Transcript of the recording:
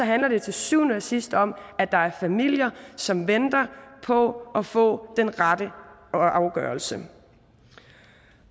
handler det til syvende og sidst om at der er familier som venter på at få den rette afgørelse